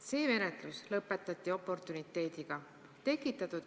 See menetlus lõpetati oportuniteediga.